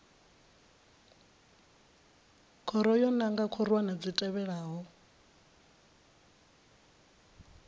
khoro yo nanga khorwana dzi tevhelaho